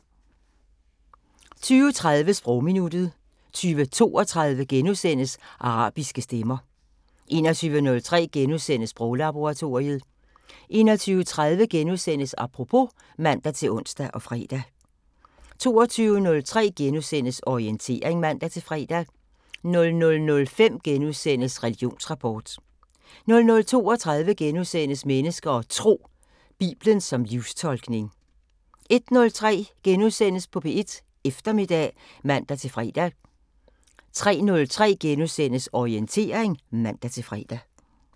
20:30: Sprogminuttet 20:32: Arabiske stemmer * 21:03: Sproglaboratoriet * 21:30: Apropos *(man-ons og fre) 22:03: Orientering *(man-fre) 00:05: Religionsrapport * 00:32: Mennesker og Tro: Biblen som livstolkning * 01:03: P1 Eftermiddag *(man-fre) 03:03: Orientering *(man-fre)